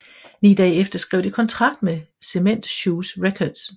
Ni dage efter skrev de kontrakt med Cement Shoes Records